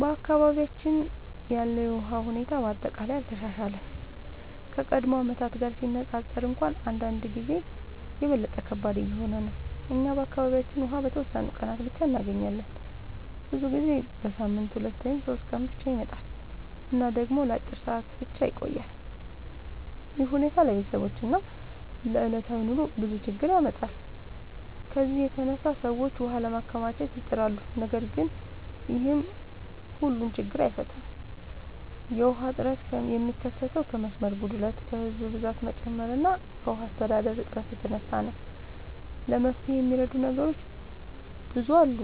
በአካባቢያችን ያለው የውሃ ሁኔታ በአጠቃላይ አልተሻሻለም፤ ከቀድሞ ዓመታት ጋር ሲነፃፀር እንኳን አንዳንድ ጊዜ የበለጠ ከባድ እየሆነ ነው። እኛ በአካባቢያችን ውሃ በተወሰኑ ቀናት ብቻ እንገኛለን፤ ብዙ ጊዜ በሳምንት 2 ወይም 3 ቀን ብቻ ይመጣል እና ደግሞ ለአጭር ሰዓታት ብቻ ይቆያል። ይህ ሁኔታ ለቤተሰቦች እና ለዕለታዊ ኑሮ ብዙ ችግኝ ያመጣል። ከዚህ የተነሳ ሰዎች ውሃ ለማከማቸት ይጥራሉ፣ ነገር ግን ይህም ሁሉን ችግኝ አይፈታም። የውሃ እጥረት የሚከሰተው ከመስመር ጉድለት፣ ከህዝብ ብዛት መጨመር እና ከውሃ አስተዳደር እጥረት የተነሳ ነው። ለመፍትሄ የሚረዱ ነገሮች ብዙ አሉ።